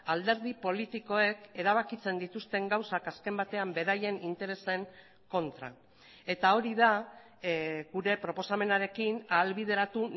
alderdi politikoek erabakitzen dituzten gauzak azken batean beraien interesen kontra eta hori da gure proposamenarekin ahalbideratu